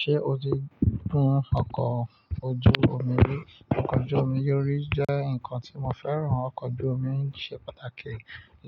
Ṣé o ti gun ọkọ̀ ojú omi rí? Ọkọ̀ ojú omi orí jẹ́ nǹkan tí mo fẹ́ràn. Ọkọ̀ ojú omi ṣe pàtàkì